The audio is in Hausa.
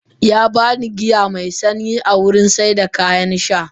Yaba ni giya me sanyi a wurin saida kayan sha